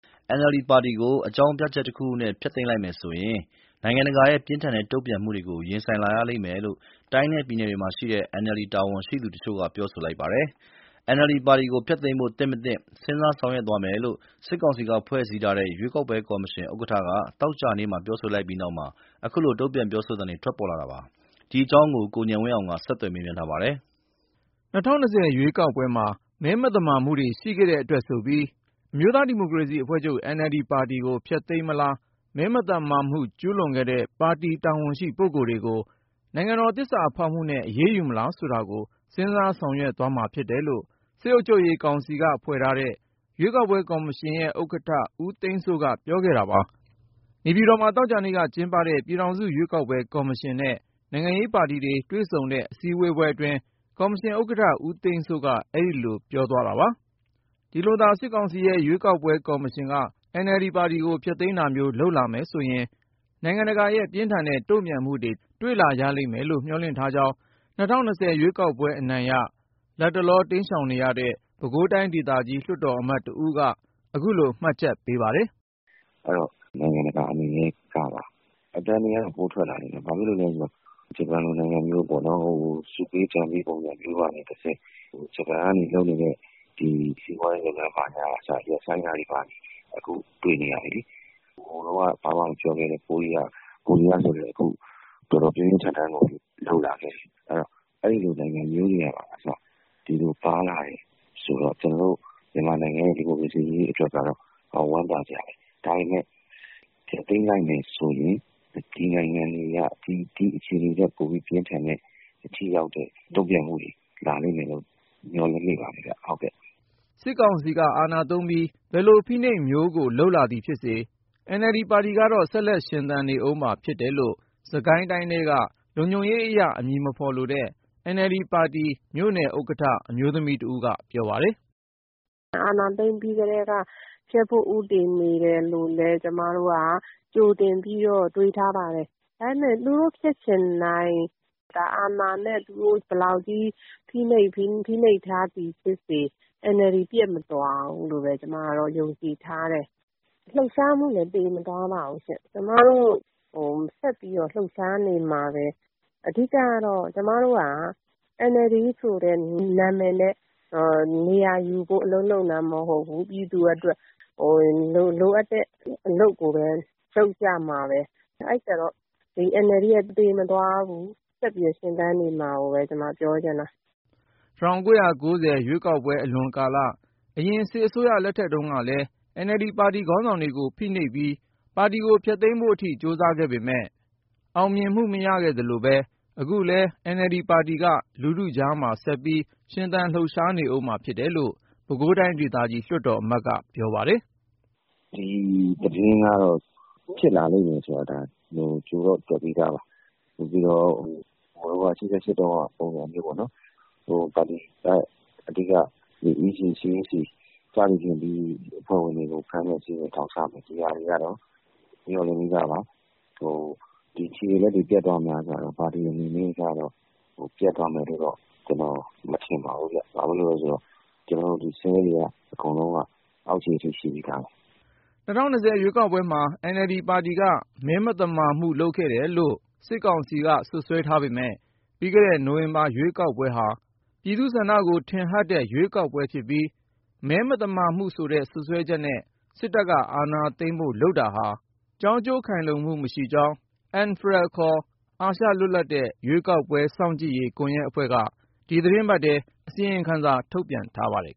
NLD ပါတီကို အကြောင်းပြချက်တခုခုနဲ့ ဖျက်သိမ်းလိုက်မယ်ဆိုရင် နိုင်ငံတကာရဲ့ ပြင်းထန်တဲ့ တုန့်ပြန်မှုတွေကို ရင်ဆိုင် လာရလိမ့်မယ်လို့ တိုင်းနဲ့ပြည်နယ်တွေမှာရှိတဲ့ NLD ပါတီ တာဝန်ရှိသူတချို့က ပြောဆိုလိုက်ပါတယ်။ NLD ပါတီကို ဖျက်သိမ်းဖို့ သင့်မသင့် စဉ်းစားဆောင်ရွက်သွားမယ်လို့ စစ်ကောင်စီက ဖွဲ့စည်းထားတဲ့ ရွေးကောက်ပွဲကော်မရှင် ဥက္ကဌက သောကြာနေ့မှာ ပြောဆို လိုက်ပြီးနောက် အခုလို တုန့်ပြန် ပြောဆိုသံတွေ ထွက်ပေါ်လာတာပါ။ ဒီအကြောင်း ကိုဉာဏ်ဝင်းအောင်က မေးမြန်း တင်ပြထားပါတယ်။ ၂၀၂၀ ရွေးကောက်ပွဲမှာ မဲ မသမာမှုတွေ ရှိခဲ့တဲ့အတွက်ဆိုပြီးအမျိုးသားဒီမိုကရေစီအဖွဲ့ချုပ် NLD ပါတီကို ဖျက်သိမ်းမလား၊ မဲမသမာမှု ကျုးလွန်ခဲ့တဲ့ ပါတီ တာဝန်ရှိပုဂ္ဂိုလ်တွေကို နိုင်ငံတော် သစ္စာဖောက်မှုနဲ့ အရေးယူမလား ဆိုတာကို စဉ်းစားဆောင်ရွက်သွားမှာ ဖြစ်တယ်လို့ စစ်အုပ်ချုပ်ရေးကောင်စီက ဖွဲ့ထားတဲ့ ရွေးကောက်ပွဲကော်မရှင်ရဲ့ ဥက္ကဌ ဦးသိန်းစိုးက ပြောဆိုခဲ့တာပါ။ နေပြည်တော်မှာ သောကြာနေ့ကျင်းပတဲ့ ပြည်ထောင်စု ရွေးကောက်ပွဲကော်မရှင်နဲ့ နိုင်ငံရေးပါတီတွေ တွေ့ဆုံတဲ့ အစည်းအဝေးအတွင်း ကော်မရှင်ဥက္ကဋ္ဌ ဦးသိန်းစိုးက အဲဒီလို ပြောသွားတာပါ။ ဒီလိုသာ စစ်ကောင်စီရဲ့ရွေးကောက်ပွဲကော်မရှင်က NLD ပါတီကို ဖျက်သိမ်းတာမျိုး လုပ်လာမယ်ဆိုရင် နိုင်ငံတကာရဲ့ ပြင်းထန်တဲ့ တုန့်ပြန်မှုတွေ တွေ့လာရလိမ့်မယ်လို့ မျှော်လင့်ထားကြောင်း ၂၀၂၀ ရွေးကောက်ပွဲအနိုင်ရ ၊ လတ်တလော တိမ်းရှောင်နေရတဲ့ ပဲခူးတိုင်းဒေသကြီးလွှတ်တော်အမတ် တဦးက ခုလို မှတ်ချက်ပေးပါတယ်။ " နိုင်ငံတကာ အနေနဲ့ကပါ အသံတွေက ပိုထွက်လာမယ်။ ဘာဖြစ်လို့လည်း ဆိုတော့ ဂျပန်လို နိုင်ငံမျိုးကလည်း ဆုပေးဒဏ်ပေး ပုံစံမျိုးကနေတဆင့် ဂျပန်ကလုပ်နေတဲ့ စီးပွားရေးအကူအညီဘာညာ ရပ်ဆိုင်းတာမျိုးလုပ်ဖို့ အခုတွေ့နေရပြီလေ။ ဟိုတုန်းက ဘာမှ မပြောခဲ့တဲ့ ကိုရီးယားဆိုလည်းအခု တော်တော်ပြင်းပြင်းထန်ထန် လုပ်လာခဲ့ပြီ။ အဲဒီတော့ အဲလိုနိုင်ငံမျိုးတွေကအစ ဒီလိုပါလာတယ်ဆိုတော့ ကျနော်တို့ မြန်မာနိုင်ငံ ဒီမိုကရေစီရေးအတွက်ကတော အတော်ဝမ်းသာစရာပဲ။ အဲဒီတော့ NLD ကို ဖျက်သိမ်းလိုက်မယ်ဆိုရင် ဒီနိုင်ငံတွေက ဒီအခြေအနေထက် ပိုပြီးပြင်းထန်တဲ့ ထိရောက်တဲ့ တုန့်ပြန်မှုတွေ လာလိမ့်မယ်လို့ မျှော်လင့်မိပါတယ်ဗျ။ " စစ်ကောင်စီက အာဏာသုံးပြီး ဘယ်လို ဖိနှိပ်မှုမျိုးကို လုပ်လာသည်ဖြစ်ပါစေ NLD ပါတီကတော့ ဆက်လက်ရှင်သန်နေဦးမှာ ဖြစ်တယ်လို့ စစ်ကိုင်းတိုင်းထဲက လုံခြုံရေးအရ အမည်မဖေါ်လိုတဲ့ NLD ပါတီ မြို့နယ်ဥက္ကဌ အမျိုးသမီးတဦးက ပြောပါတယ်။ “အာဏာသိမ်းပြီးကတည်းက ဖျက်ဖို့ ဦးတည်နေတယ်လို့လည်း ကျမတို့က ကြိုတင်ပြီးတော့ တွေးထားပါတယ်။ ဒါပေမဲ့ သူတို့ဖြစ်ချင်တိုင်း အာဏာနဲ့ သူတို့ ဖိနှိပ်ထားသည်ဖြစ်စေ၊ NLD ပျက်မသွားဘူးလို့ ကျမယုံကြည်ထားတယ်။ လှုပ်ရှားမှုလည်း သေ မသွားပါဘူးရှင့်။ ကျမတို့ ဆက်ပြီးတော့ လှုပ်ရှားနေမှာပဲ ၊ အဓိကတော့ ကျမတို့က NLDဆိုတဲ့ နာမည်နဲ့ နေရာယူဖို့ အလုပ်လုပ်နေတာမဟုတ်ဘူး။ ပြည်သူအတွက် လိုအပ်တဲ့ အလုပ်ကိုပဲ လုပ်ကြမှာပဲ။ အဲဒီတော့ NLD က သေမသွားဘူး ဆက်ပြီးတော့ ရှင်သန်နေမယ်ဆိုတာ ကျမပြောချင်တာ။” ၁၉၉၀ ရွေးကောက်ပွဲအလွန်ကာလ အရင် စစ်အစိုးရလက်ထက်တုန်းကလည်း NLD ပါတီ ခေါင်းဆောင်တွေကို ဖိနှိပ်ပြီး ဖျက်သိမ်းဖို့အထိ ကြိုစားခဲ့ပေမယ့် အောင်မြင်မှု မရခဲ့သလိုပဲ ၊ ခုလည်း NLD ပါတီက လူထုကြား ဆက်ပြီးလှုပ်ရှားနေဦးမှာ ဖြစ်တယ်လို့ ပဲခူးတိုင်းဒေသကြီး လွှတ်တော်အမတ်က ပြောပါတယ်။ “ဒီသတင်းကတော့ ဖြစ်လာလိမ့်မယ်ဆိုတာ ကြိုပြီးတော့ တွက်ထားတယ်။ ဟိုတုန်းက ၈၈ တုန်းကပုံစံမျိုးပေါ့နော် ပါတီရဲ့ အဓိက EC ၊ CEC ပြီးရင် ပါတီအဖွဲ့ဝင်တွေကို ဖမ်းမယ် ထောင်ချမယ်ဆိုတာကိုတော့ မျှော်လင့်ပြီးသားပါ။ ဒီခြေတွေလက်တွေ ပျက်သွားမလားဆိုတာတော့ - ပါတီအနေနဲ့ ပျက်သွားမယ်လို့ ကျနော်အနေနဲ့ မထင်ပါဘူး ။ ဘာဖြစ်လို့လဲဆိုတော့ ကျနော်တို့ Cell တွေ အကုန်လုံးက အောက်ခြေအထိ ရှိပြီးသားပါ။” ၂၀၂၀ ရွေးကောက်ပွဲမှာ NLD ပါတီက မဲမသမာမှုလုပ်ခဲ့တယ်လို့ စစ်ကောင်စီက စွပ်စွဲထားပေမယ့် ပြီးခဲ့တဲ့ နိုဝင်ဘာ ရွေးကောက်ပွဲဟာ ပြည်သူ့ဆန္ဒကို ထင်ဟတ်တဲ့ ရွေးကောက်ပွဲဖြစ်ပြီး ၊ မဲမသမာမှုဆိုတဲ့ စွပ်စွဲချက်နဲ့ စစ်တပ်က အာဏာသိမ်းဖို့ လုပ်တာဟာ ကျိုးကြောင်းခိုင်လုံမှု မရှိကြောင်း ANFREL ခေါ်အာရှ လွတ်လပ်တဲ့ရွေးကောက်ပွဲစောင့်ကြည့်ရေး ကွန်ယက်အဖွဲ့က ဒီသီတင်းပတ်ထဲ အစီရင်ခံစာ ထုတ်ပြန်ထားပါတယ်